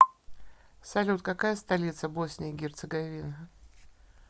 салют какая столица босния и герцеговина